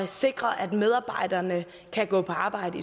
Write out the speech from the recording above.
sikre at medarbejderne kan gå på arbejde